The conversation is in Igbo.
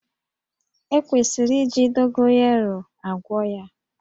E kwesịrị iji Dogoyaro agwọ ya